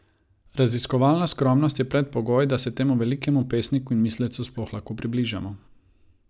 Raziskovalna skromnost je predpogoj, da se temu velikemu pesniku in mislecu sploh lahko približamo.